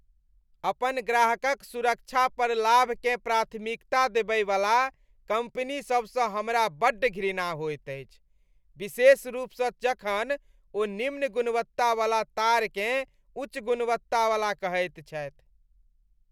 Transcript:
अपन ग्राहकक सुरक्षा पर लाभकेँ प्राथमिकता देबयवला कम्पनीसभसँ हमरा बड्ड घृणा होइत अछि, विशेष रूपसँ जखन ओ निम्न गुणवत्ता बला तारकेँ उच्च गुणवत्तावला कहैत छथि।